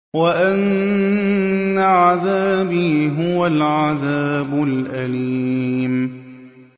وَأَنَّ عَذَابِي هُوَ الْعَذَابُ الْأَلِيمُ